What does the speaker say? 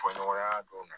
Fɔ ɲɔgɔnya dɔn